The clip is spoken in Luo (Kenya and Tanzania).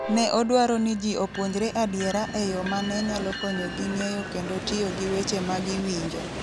Ne odwaro ni ji opuonjre adiera e yo ma ne nyalo konyogi ng'eyo kendo tiyo gi weche ma giwinjo.